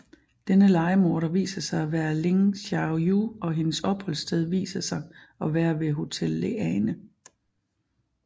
Denne lejemorder viser sig at være Ling Xiaoyu og hendes opholdssted viser sig at være ved Hotel Leane